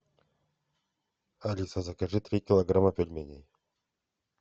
алиса закажи три килограмма пельменей